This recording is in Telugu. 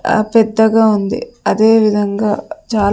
ఆ పెద్దగా ఉంది అదే విధంగా చాల--